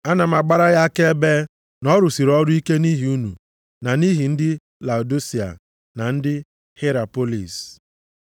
Ana m agbara ya akaebe na ọ rụsịrị ọrụ ike nʼihi unu na nʼihi ndị Laodisia na ndị Hierapolis.